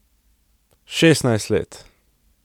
Šestnajst let!